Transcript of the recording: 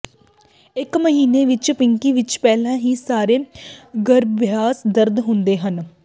ਇੱਕ ਮਹੀਨਾ ਵਿੱਚ ਪਿੰਕੀ ਵਿੱਚ ਪਹਿਲਾਂ ਹੀ ਸਾਰੇ ਗਰੱਭਾਸ਼ਯ ਦੰਦ ਹੁੰਦੇ ਹਨ